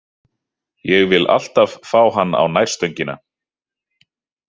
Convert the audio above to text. Ég vill alltaf fá hann á nærstöngina.